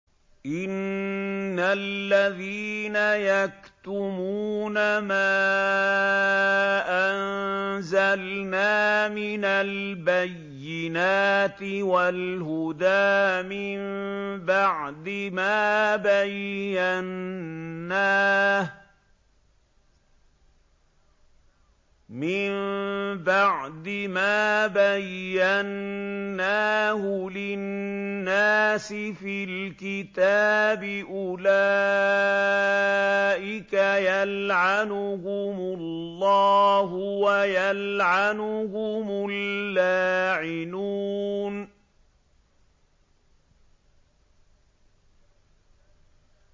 إِنَّ الَّذِينَ يَكْتُمُونَ مَا أَنزَلْنَا مِنَ الْبَيِّنَاتِ وَالْهُدَىٰ مِن بَعْدِ مَا بَيَّنَّاهُ لِلنَّاسِ فِي الْكِتَابِ ۙ أُولَٰئِكَ يَلْعَنُهُمُ اللَّهُ وَيَلْعَنُهُمُ اللَّاعِنُونَ